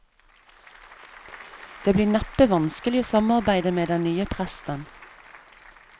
Det blir neppe vanskelig å samarbeide med den nye presten.